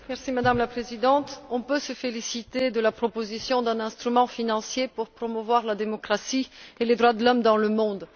Madame la Présidente, on peut se féliciter de la proposition d'un instrument financier pour promouvoir la démocratie et les droits de l'homme dans le monde.